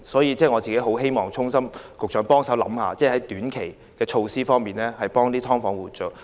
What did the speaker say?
為此，我衷心希望局長考慮有何短期措施可協助"劏房"租戶。